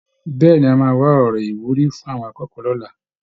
Bẹ́ẹ̀ ni, A máa wá sọ ọ̀rọ̀ ìwúrí fún àwọn akọ́kọ̀ọ́ lọ́la